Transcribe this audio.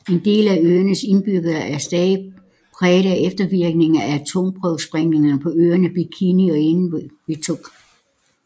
En del af øernes indbyggere er stadig præget af eftervirkningerne af atomprøvesprængninger på øerne Bikini og Enewetok